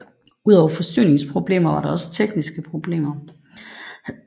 Udover forsyningsproblemer var der også tekniske problemer